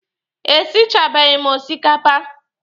E sichabeghi m osikapa.